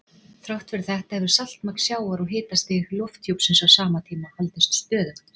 Þrátt fyrir þetta hefur saltmagn sjávar og hitastig lofthjúpsins á sama tíma haldist stöðugt.